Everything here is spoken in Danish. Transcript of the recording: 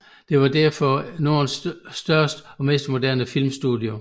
Det var derefter Nordens største og mest moderne filmstudie